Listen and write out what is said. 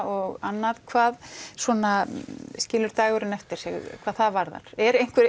og annað hvað skilur dagurinn eftir sig hvað það varðar er